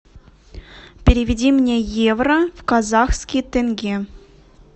переведи мне евро в казахский тенге